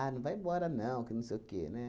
não vai embora, não, que não sei o quê, né?